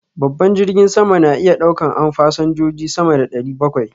Babban jirgin sama na iya ɗaukan an fasanjoji sama da ɗari bakwai